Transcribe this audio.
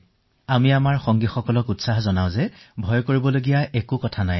আমি আমাৰ দলটোক উৎসাহিত কৰি ৰাখো যে ভয় খাবলগীয়া একো নাই এনেকুৱা কোনো কথা নাই